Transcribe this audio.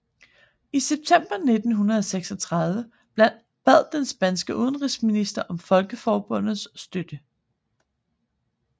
I september 1936 bad den spanske udenrigsminister om Folkeforbundets støtte